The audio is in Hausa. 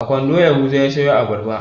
A kwando yahuza ya sayo abarba.